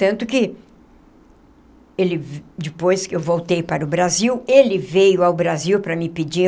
Tanto que ele, depois que eu voltei para o Brasil, ele veio ao Brasil para me pedir.